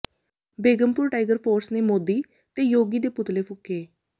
Begampur Tiger Force ਨੇ ਮੋਦੀ ਤੇ ਯੋਗੀ ਦੇ ਪੁਤਲੇ ਫੂਕੇ